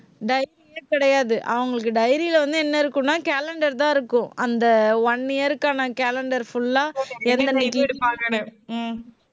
dairy யே கிடையாது. அவங்களுக்கு dairy ல வந்து என்ன இருக்கும்ன்னா calendar தான் இருக்கும். அந்த one year க்கான calendar full ஆ, ஹம்